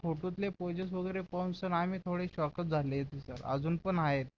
फोटोतले poses वगैरे पाहून sir आम्ही थोडे shock च झाले सर अजून पण आहेत